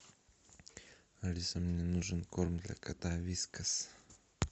алиса мне нужен корм для кота вискас